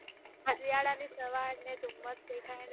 અન્જયાલાની સવાર અને થુંમસ દેખાયને